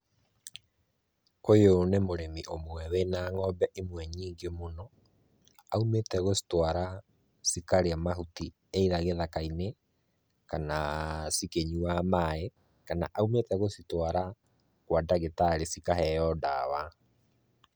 Ũyũ nĩ mũrĩmi ũmwe wĩna ng'ombe imwe nyingĩ mũno. Aumĩte gũcitwara cikarĩe mahuti either gĩthaka-inĩ kana cikĩnyuaga maaĩ, kana aumĩte gũcitwara kwa ndagĩtarĩ cikaheo ndawa.